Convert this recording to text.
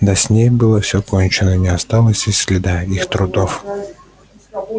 да с ней было всё кончено не осталось и следа их трудов